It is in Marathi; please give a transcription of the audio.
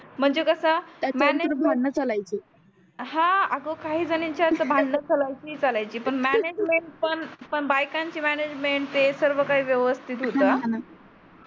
म्हणजे कस त्याच्या वर भांडण चलायचे मॅनेजमेंट हा अग काही झनीच्या तर भाडंण चलायचे तर चलायचे पण मॅनेजमेंट पण बायकांची मॅनेजमेंट ते सर्व काही व्यवस्थित होत हा हा णा हा णा